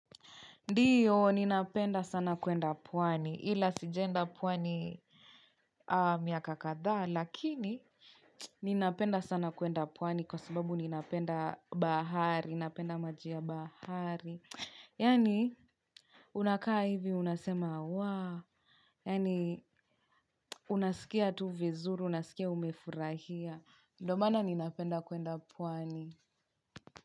Ndiyo, ninapenda sana kuenda pwani, ila sijaenda pwani miaka kadhaa, lakini ninapenda sana kuenda pwani kwa sababu ninapenda bahari, ninapenda maji ya bahari. Yaani, unakaa hivi, unasema, waa, yaani, unasikia tu vizuri, unasikia umefurahia, ndio maana ninapenda kuenda pwani.